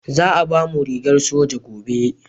Za a bamu rigar soja gobe